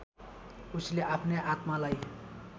उसले आफ्नै आत्मालाई